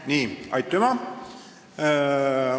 Nii, aitüma!